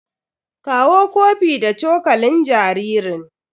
Kawo kofi da cokalin jaririn.